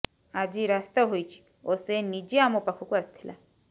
ଆଜି ରାସ୍ତା ହୋଇଛି ଓ ସେ ନିଜେ ଆମ ପାଖକୁ ଆସିଥିଲା